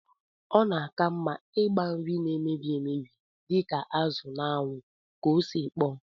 Ọ na-aka mma ịgba nri na-emebi emebi dịka azụ n'anwụ ka ọ sikpọọ